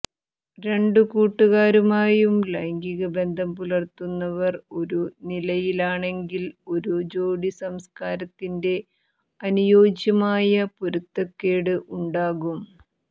രണ്ടു കൂട്ടുകാരുമായും ലൈംഗിക ബന്ധം പുലർത്തുന്നവർ എന്ന നിലയിലാണെങ്കിൽ ഒരു ജോടി സംസ്ക്കാരത്തിന്റെ അനുയോജ്യമായ പൊരുത്തക്കേട് ഉണ്ടാകും